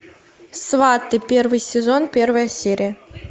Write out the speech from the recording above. сваты первый сезон первая серия